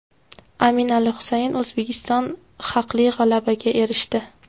Amin Ali Husayn: O‘zbekiston haqli g‘alabaga erishdi.